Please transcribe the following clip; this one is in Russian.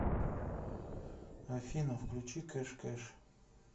афина включи кэш кэш